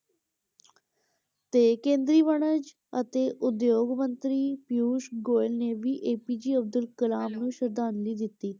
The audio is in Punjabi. ਤੇ ਕੇਂਦਰੀ ਵਣਜ ਅਤੇ ਉਦਯੋਗ ਮੰਤਰੀ ਪਿਯੂਸ਼ ਗੋਇਲ ਨੇ ਵੀ APJ ਅਬਦੁੱਲ ਕਲਾਮ ਨੂੰ ਸ਼ਰਧਾਂਜਲੀ ਦਿੱਤੀ।